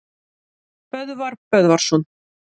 Böðvar Böðvarsson